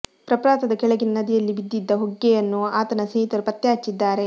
ಪ್ರಪಾತದ ಕೆಳಗಿನ ನದಿಯಲ್ಲಿ ಬಿದ್ದಿದ ಹೊಗ್ಗೆಯನ್ನು ಆತನ ಸ್ನೇಹಿತರು ಪತ್ತೆ ಹಚ್ಚಿದ್ದಾರೆ